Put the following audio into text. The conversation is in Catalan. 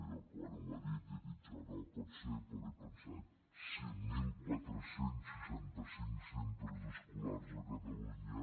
jo quan ho ha dit he dit no pot ser perquè he pensat cinc mil quatre cents i seixanta cinc centres escolars a catalunya